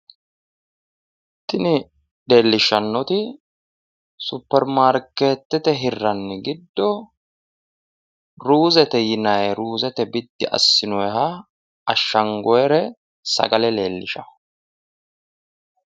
Tini leellishshannoti supermarkeette hirranniri giddo ruuzete yinayi ruuzete biddi assinanniha ashshangoyiire sagale leellishawo.